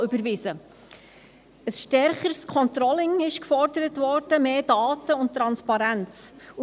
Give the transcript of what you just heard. Ein stärkeres Controlling, mehr Daten und Transparenz wurden gefordert.